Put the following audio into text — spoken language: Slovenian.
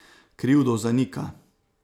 Krivdo zanika.